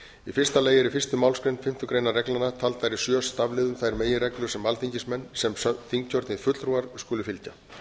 í fyrsta lagi er í fyrstu málsgrein fimmtu greinar reglnanna taldar í sjö stafliðum þær meginreglur sem alþingismenn sem þingkjörnir fulltrúar skuli fylgja